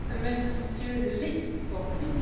Frau Präsidentin, Hohe Vertreterin!